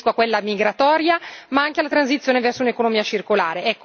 Mi riferisco a quella migratoria, ma anche alla transizione verso un'economia circolare.